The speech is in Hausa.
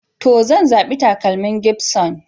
To, zan zabi takalmin gibson.